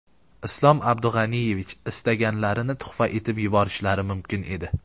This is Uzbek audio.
Islom Abdug‘aniyevich istaganlarini tuhfa etib yuborishlari mumkin edi.